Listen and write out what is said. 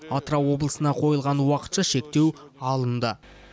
атырау облысына қойылған уақытша шектеу алынды